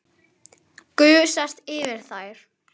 Gusast yfir þær.